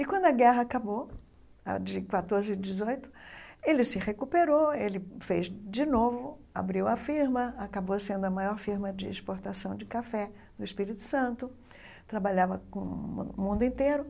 E quando a guerra acabou, ah de quatorze a dezoito, ele se recuperou, ele fez de novo, abriu a firma, acabou sendo a maior firma de exportação de café do Espírito Santo, trabalhava com o mun o mundo inteiro,